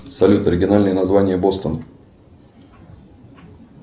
салют оригинальное название бостон